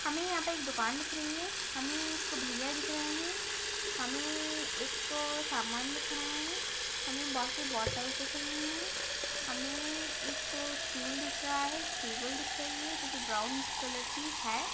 हमे यहाँ पर एक दुकान दिख रही है हमें एक भईया दिख रहे हैं हमें एक सामान दिख रहे हैं हमें बोहोत सी बॉटल्स दिख रही है हमे एक स्टूल दिख रहा है एक टेबल दिख रही है जो की ब्राउन्ड कलर की है।